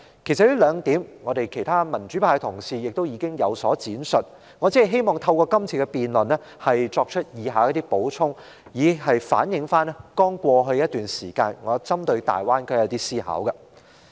其實，其他民主派議員也曾就這兩點作出闡述，而我只希望透過今次辯論，作出以下的補充，以反映我在過去一段時間針對大灣區進行的思考。